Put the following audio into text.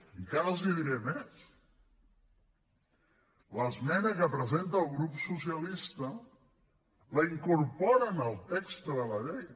encara els hi diré més l’esmena que presenta el grup socialista la incorporen al text de la llei